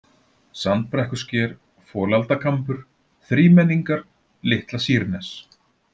Sandbrekkusker, Folaldakambur, Þrímenningar, Litla-Sýrnes